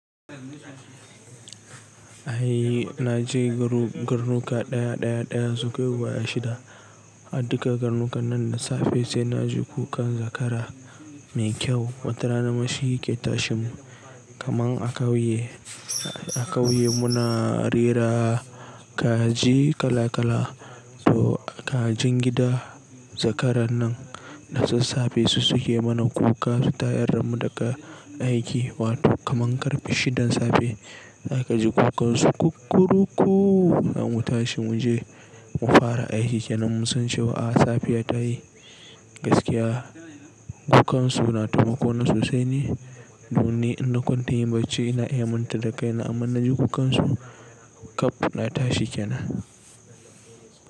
Ai na je garu-garnuka ɗaya ɗaya ɗaya sunkai guda shida. A duka garnukan nan da safe sai na ji kukan zakara mai kyau. Wata rana ma shi yake tashin mu. Kaman a kauye, a kauye muna rera kaji kala kala. To kajin gida zakaran nan da sassafe su suke mana kuka su ta yarra damu daga aiki. Wato kaman karfe shidan safe za ka ji kukansu kukkurukku. Zamu tashi mu je mu fara aiki kenan mun san cewa ah safiya ta yi gaskiya. Kukansu na taimako na sosai ne. Donni in na kwanta yin bacci ina iya manta da kaina amma inna ji kukansu kaf na tashi kenan.